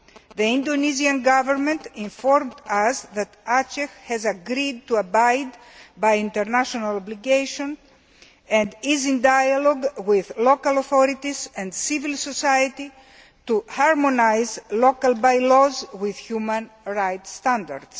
The Indonesian Government informed us that Aceh has agreed to abide by international obligations and is in dialogue with local authorities and civil society to harmonise local by laws with human right standards.